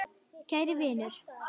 Kæri vinur.